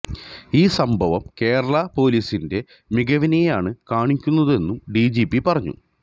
ഈ സംഭവം കേരളാ പൊലീസിന്റെ മികവിനെയാണ് കാണിക്കുന്നതെന്നും ഡിജിപി പറഞ്ഞു